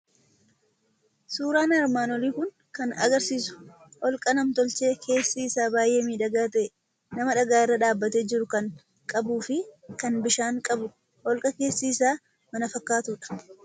Suuraan armaan olii kun kan agarsiisu holqa nam tolchee, keessi isaa baay'ee miidhagaa ta'e, nama dhagaa irra dhaabbatee jiru kan qabu, fi kan bishaan qabu holqa keessi isaa mana fakkaatu dha.